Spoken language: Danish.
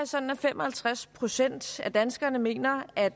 sådan at fem og halvtreds procent af danskerne mener at